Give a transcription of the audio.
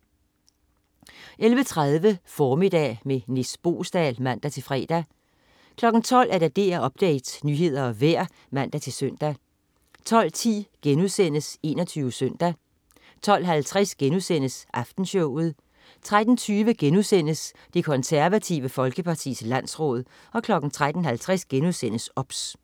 11.30 Formiddag med Nis Boesdal (man-fre) 12.00 DR Update. Nyheder og vejr (man-søn) 12.10 21 Søndag* 12.50 Aftenshowet* 13.20 Det Konservative Folkepartis landsråd* 13.50 OBS*